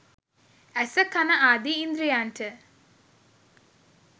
ඇස, කන ආදි ඉන්ද්‍රියන්ට